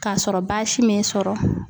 Kasɔrɔ baasi m'e sɔrɔ